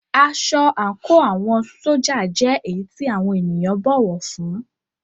Aṣọ àńkò àwọn ṣójà jẹ́ èyí tí àwọn ènìyàn bọ̀wọ̀ fún ún.